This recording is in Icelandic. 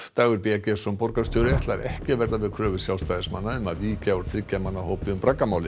Dagur b Eggertsson borgarstjóri ætlar ekki að verða við kröfu Sjálfstæðismanna um að víkja úr þriggja manna hópi um